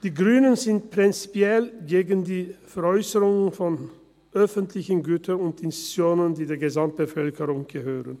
Die Grünen sind prinzipiell gegen die Veräusserung von öffentlichen Gütern und Institutionen, die der Gesamtbevölkerung gehören.